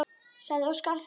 sagði Óskar.